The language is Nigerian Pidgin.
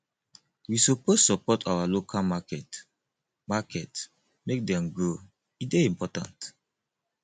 we suppose support our local market market make dem grow e dey important